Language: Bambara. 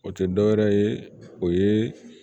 O tɛ dɔ wɛrɛ ye o ye